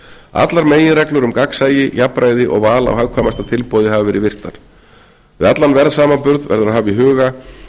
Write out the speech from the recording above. allar meginreglur um gagnsæi jafnræði og val á hagkvæmasta tilboði hafa verið virtar við allan verðsamanburð verður að hafa í huga